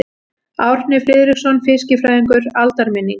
Árni Friðriksson fiskifræðingur: Aldarminning.